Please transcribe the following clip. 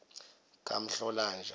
kamhlolanja